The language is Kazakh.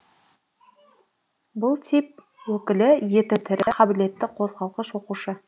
бұл тип өкілі еті тірі қабілетті қозғалғыш оқушы